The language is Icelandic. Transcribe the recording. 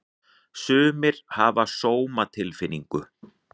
Sumir hafa sómatilfinningu.